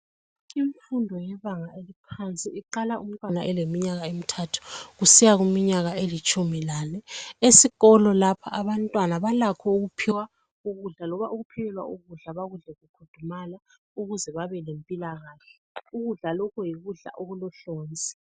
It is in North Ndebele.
Imfundo yebanga eliphansi iqala umntwana eleminyaka emithathu kusiya kuminyaka elitshumi lane, esikolo lapha abantwana balakho ukuphiwa ukudla loba ukuphekelwa ukudla ukuze bakudle kufudumala ukuze babe lempilakahle, ukudla lokhu yikudla okulohlonzi.